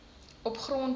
op grond van